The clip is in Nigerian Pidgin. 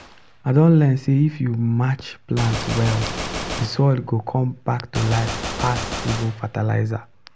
i don learn say if you match plants well the soil go come back to life pass even fertilizer.